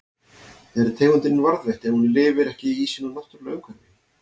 Er tegundin varðveitt ef hún lifir ekki í sínu náttúrulega umhverfi?